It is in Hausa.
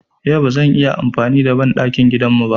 Yau ba zan yi amfani da banɗakin gidan mu ba.